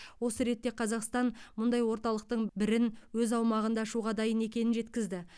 осы ретте қазақстан мұндай орталықтың бірін өз аумағында ашуға дайын екенін жеткізді